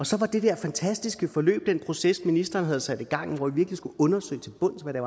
så var det der fantastiske forløb den proces ministeren havde sat i gang hvor vi skulle undersøge til bunds hvad det